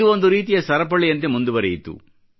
ಇದು ಒಂದು ರೀತಿಯ ಸರಪಳಿಯಂತೆ ಮುಂದುವರೆಯಿತು